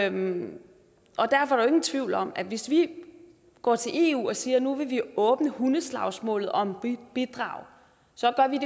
ingen tvivl om at hvis vi går til eu og siger at nu vil vi åbne hundeslagsmålet om bidraget så gør vi